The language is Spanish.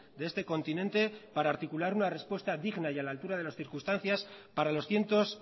de este continente para articular una respuesta digna y a la altura de las circunstancias para los cientos